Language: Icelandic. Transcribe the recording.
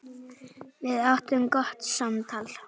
Við áttum gott samtal.